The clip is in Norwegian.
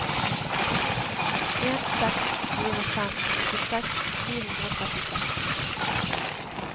en seks fire fem åttiseks ni hundre og trettiseks